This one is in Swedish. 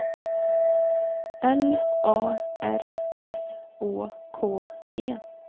L A R S Å K E